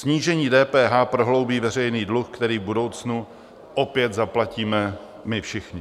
Snížení DPH prohloubí veřejný druh, který v budoucnu opět zaplatíme my všichni.